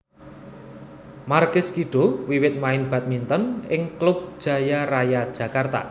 Markis Kido wiwit main badminton ing klub Jaya Raya Jakarta